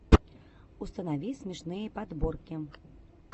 установи смешные подборки